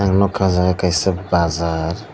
ang nukha o jaga kaisa bazar.